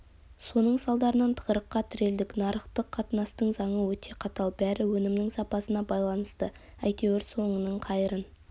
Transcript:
соның салдарынан тығырыққа тірелдік нарықтық қатынастың заңы өте қатал бәрі өнімнің сапасына байланысты әйтеуір соңының қайырын